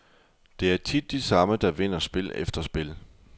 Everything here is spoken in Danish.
Det er tit de samme, der vinder spil efter spil.